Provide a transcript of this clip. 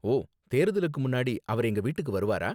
ஓ, தேர்தலுக்கு முன்னாடி அவர் எங்க வீட்டுக்கு வருவாரா?